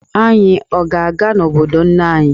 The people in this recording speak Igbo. Anyị ọ ga-aga n'obodo nne anyị?